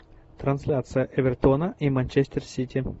трансляция эвертона и манчестер сити